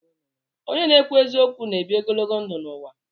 Onye na-ekwu eziokwu na-ebi ogologo ndụ n'ụwa